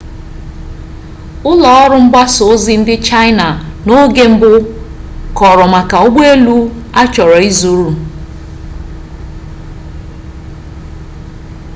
ụlọ ọrụ mgbasa ozi ndị chaịna n'oge mbụ kọrọ maka ụgbọ elu a chọrọ izuru